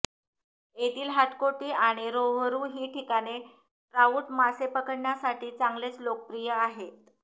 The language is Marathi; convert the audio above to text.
येथील हाटकोटी आणि रोहरू ही ठिकाणे ट्राउट मासे पकडण्यासाठी चांगलेच लोकप्रिय आहेत